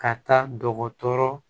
Ka taa dɔgɔtɔrɔ